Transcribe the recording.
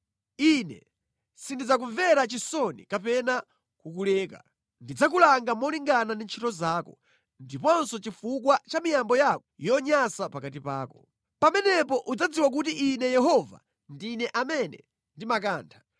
Ine sindidzakumvera chisoni kapena kukuleka. Ndidzakulanga malingana ndi ntchito zako ndiponso chifukwa cha miyambo yako yonyansa pakati pako. ‘Pamenepo udzadziwa kuti Ine Yehova ndine amene ndimakantha.’